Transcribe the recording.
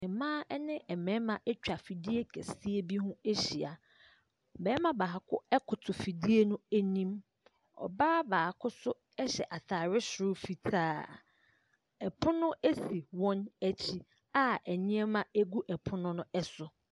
Mmaa ne mmarima atwa fidie kɛseɛ bi ho ahyia. Barima baako koto fidie no anim, ɔbaa baako nso hyɛ ataare soro fitaa. Pono si wɔn akyi a nneɛma gu pono no so.